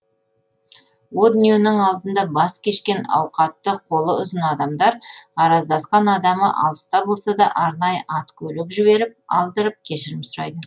о дүниенің алдында бас кешкен ауқатты қолы ұзын адамдар араздасқан адамы алыста болса да арнайы ат көлік жіберіп алдырып кешірім сұрайды